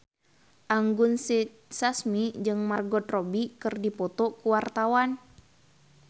Anggun C. Sasmi jeung Margot Robbie keur dipoto ku wartawan